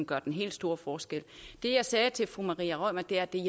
gør den helt store forskel det jeg sagde til fru maria reumert gjerding